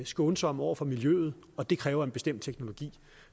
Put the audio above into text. skånsomme over for miljøet og det kræver en bestemt teknologi